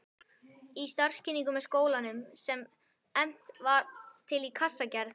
Í starfskynningu með skólanum, sem efnt var til í Kassagerð